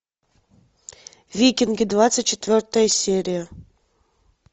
викинги двадцать четвертая серия